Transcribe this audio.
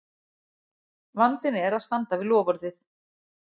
vandinn er að standa við loforðið!